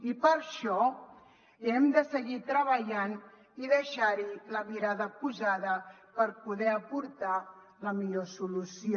i per això hem de seguir treballant i deixar hi la mirada posada per poder aportar la millor solució